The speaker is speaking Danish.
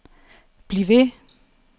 bliv ved